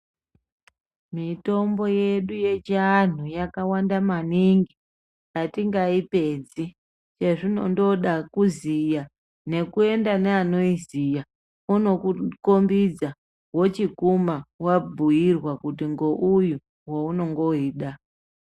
Mitombo yedu yechiantu yakanaka maningi atingaipedzi yazvinongoda kuziya kuenda neano iziya ochindokukombidza wochikuma wabhuirwa kuti ngouyu waunenge weida.